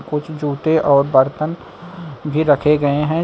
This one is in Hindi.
कुछ जूते और बर्तन भी रखे गए हैं।